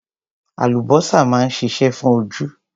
Àlùbósà máa ń ṣiṣẹ́ fún ojú.